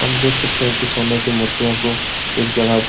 आप देख सकते है कि सोने की मूर्तियों को एक जगह --